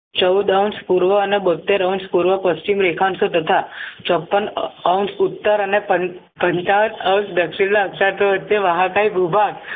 ચૌઉદ અંશ પૂર્વ અને બોતેર અંશ પૂર્વ પશ્ચિમ રેખા અંશ તથા ચોપન અંશ ઉત્તર અને પન પંચાવન અંશ દક્ષિણ ના અંશ વચ્ચે મહાકાય ગુફા